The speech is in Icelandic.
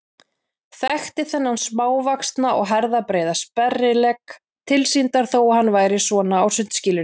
Þekkti þennan smávaxna og herðabreiða sperrilegg tilsýndar þó að hann væri svona á sundskýlunni.